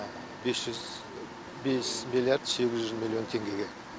бес жүз бес миллиард сегіз жүз миллион теңгеге